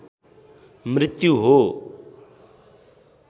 मृत्यु हो